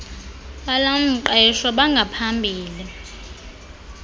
bal mqeshwa bangaphambili